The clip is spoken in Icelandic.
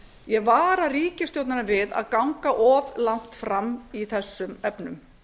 ég vara ríkisstjórnina við að ganga of langt fram í þessum efnum